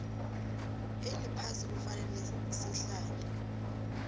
eliphasi kufanele sihlale